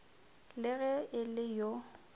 le ge e le yo